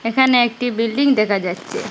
এখানে একটি বিল্ডিং দেখা যাচ্ছে।